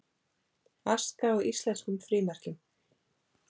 Aska á íslenskum frímerkjum